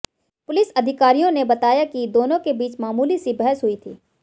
police अधिकारियों ने बताया कि दोनों के बीच मामूली सी बहस हुई थी